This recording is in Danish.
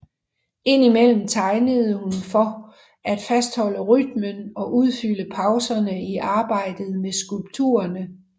Ind imellem tegnede hun for at fastholde rytmen og udfylde pauserne i arbejdet med skulpturerne